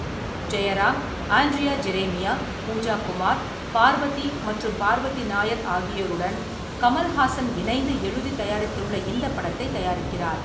ஜெயராம், ஆண்ட்ரியா ஜெரேமியா, பூஜா குமார், பார்வதி மற்றும் பார்வதி நாயர் ஆகியோருடன் கமல் ஹாசன் இணைந்து எழுதி தயாரித்துள்ள இந்த படத்தை தயாரிக்கிறார்.